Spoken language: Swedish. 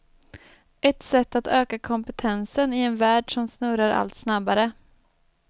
Ett sätt att öka kompetensen i en värld som snurrar allt snabbare.